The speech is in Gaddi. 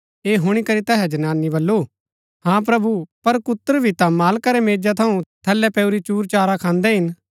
ऐह हुणी करी तैहै जनानी बल्लू हाँ प्रभु पर कुत्र भी ता मालका रै मेजा थऊँ थलै पैऊरी चूरचारा खान्दै हिन